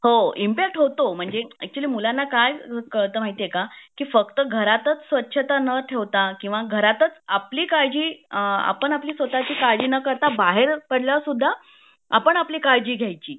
हो होतो impact actually मुलांना काय कळत माहितीये का की फक्त घरातच स्वच्छता ना ठेवता किंवा घरातच आपली काळजी अ आपण आपली स्वतची काळजी ना करता बाहेर पडल्यावर सुद्धा आपण आपली काळजी घ्यायची